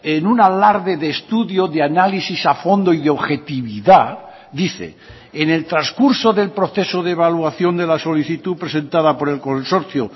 en un alarde de estudio de análisis a fondo y de objetividad dice en el transcurso del proceso de evaluación de la solicitud presentada por el consorcio